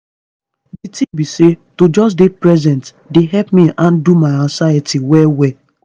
di tin be say to just dey present dey help me handle my anxiety well well.